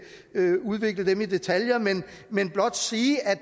udvikle dem i detaljer men blot sige at